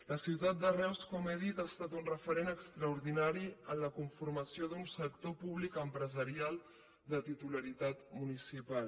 la ciutat de reus com he dit ha estat un referent extraordinari en la conformació d’un sector públic empresarial de titularitat municipal